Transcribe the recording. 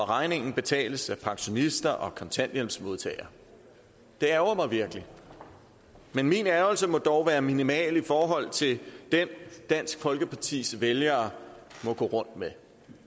regningen betales af pensionister og kontanthjælpsmodtagere det ærgrer mig virkelig men min ærgrelse må dog være minimal i forhold til den dansk folkepartis vælgere må gå rundt med